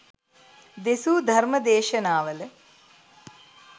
දෙසූ ධර්ම දේශනාවල